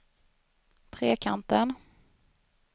Trekanten